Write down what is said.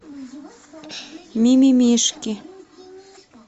ми ми мишки